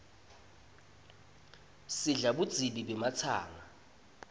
sidla budzibi bematsanga